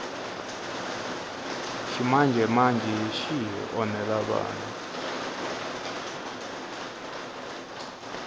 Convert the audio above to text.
ximanjemanje xi hi onhela vana